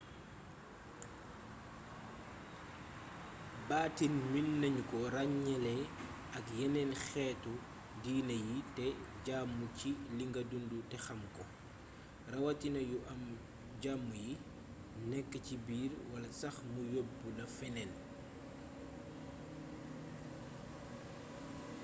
baatin meenagnuko ragnélé ak yénén xétu diiné yi té jaamu ci linga dundu té xamko rawatina yu am jam yi nékk ci biir wala sax mu yobbla fénéén